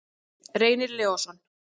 Reynir Leósson.